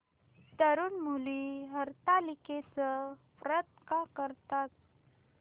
तरुण मुली हरतालिकेचं व्रत का करतात